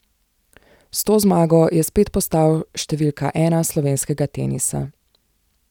S to zmago je spet postal številka ena slovenskega tenisa.